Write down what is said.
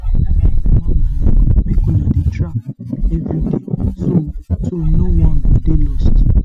carry your man along make una dey track everyday so so no one go dey lost.